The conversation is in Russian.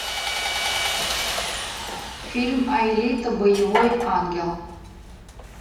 фильм алита боевой ангел